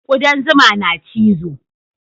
Kudan zuma na cizo